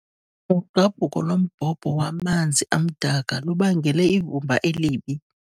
Ugqabhuko lombhobho wamanzi amdaka lubangele ivumba elibi.